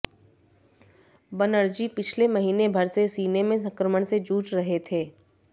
बनर्जी पिछले महीने भर से सीने में संक्रमण से जूझ रहे थे